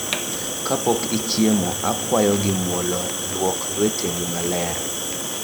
Kapok ichiemo, akwayo gi mwolo, lwok lweteni maler